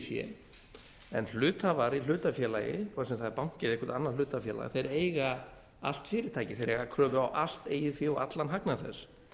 fé en hluthafar í hlutafélagihvort sem það er banki eða eitthvert annað hlutafélag þeir eiga allt fyrirtækið þeir eiga kröfu á allt eigið fé og allan hagnað þess